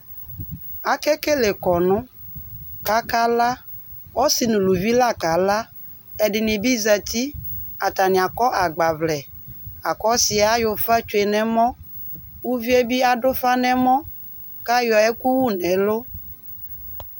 Ake kele kɔnʋ, kʋ aka ala Ɔsɩ nʋ ʋlʋvɩ la ka ala Ɛdɩnɩ bɩ zǝtɩ Atanɩ akɔ agbavlɛ, akʋ ɔsɩ yɛ ayɔ ʋfa tsʋe nʋ ɛmɔ, uvi yɛ bɩ adʋ ʋfa nʋ ɛmɔ, kʋ ayɔ ɛkʋ wʋ nʋ ɛlʋ